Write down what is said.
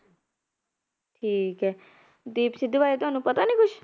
ਠੀਕ ਹੈ, ਦੀਪ ਸਿੱਧੂ ਬਾਰੇ ਤੁਹਾਨੂੰ ਪਤਾ ਨੀ ਕੁਛ?